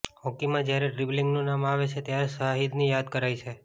હોકીમાં જ્યારે ડ્રિબલિંગનું નામ આવે છે ત્યારે શાહિદને યાદ કરાય છે